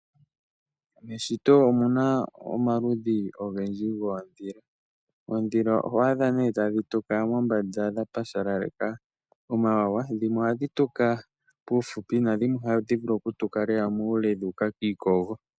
Meshito omuna omaludhi ogendji goondhila. Oondhila oho adha nee tadhi tuka mombanda dha pashaleleka omawawa. Dhimwe ohadhi tuka puufupi, nadhimwe ohadhi vulu okutuka lela muule, dhu uka kiikogo.